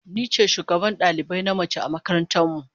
Ni ce shugabar dalibai na mace a makaranta mu.